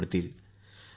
प्रीती जी नमस्कार